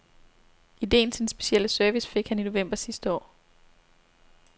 Ideen til den specielle service fik han i november sidste år.